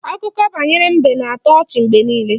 Akụkọ banyere mbe na-atọ ọchị mgbe niile